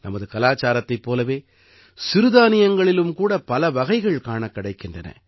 நமது கலாச்சாரத்தைப் போலவே சிறுதானியங்களிலும் கூட பலவகைகள் காணக் கிடைக்கின்றன